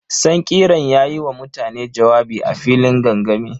Sankirar ya yi wa mutane jawabi a filin gangami.